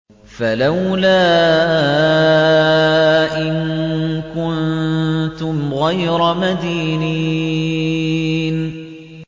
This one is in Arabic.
فَلَوْلَا إِن كُنتُمْ غَيْرَ مَدِينِينَ